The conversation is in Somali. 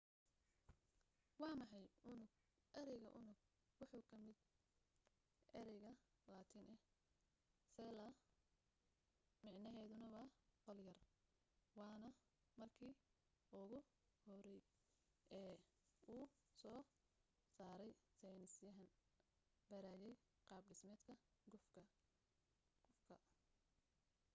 waa maxay unug ereyga unug wuxuu ka yimi erey latiini ah cella micnaheduna waa qol yar waana marki ugu horey ee uu soo sarey seynis yahaan barayey qaab dhismeedka gufka